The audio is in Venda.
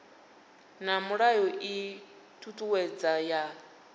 na mulayo ii thuthuwedzo ya